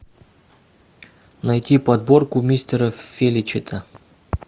найти подборку мистера феличита